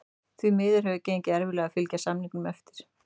Því miður hefur gengið erfiðlega að fylgja samningum eftir.